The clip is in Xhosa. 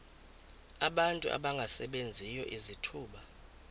abantu abangasebenziyo izithuba